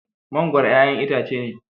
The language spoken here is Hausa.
Mangoro ƴaƴan itace ne.